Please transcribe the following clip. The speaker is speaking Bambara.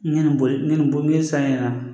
Ɲɛnɛ boli ɲani boli ni san ɲɛna